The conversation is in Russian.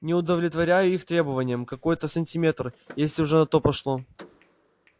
не удовлетворяю их требованиям какой-то сантиметр если уже на то пошло